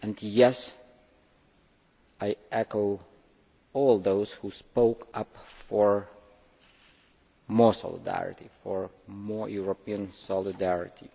Yes, I echo all those who spoke up for more solidarity, for more European solidarity.